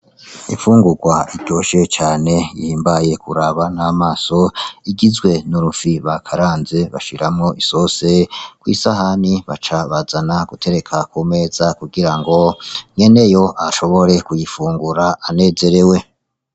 Imfungurwa iryoshe cane ihimbaye kuraba n'amaso igizwe n’urufi bakaranze bashiramwo isose , kw'isahane baca bazana gutereka kumeza kugirango nyeneyo ashobore kuyifungura anezerewe.